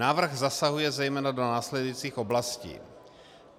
Návrh zasahuje zejména do následujících oblastí: